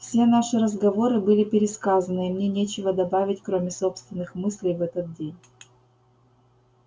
все наши разговоры были пересказаны и мне нечего добавить кроме собственных мыслей в этот день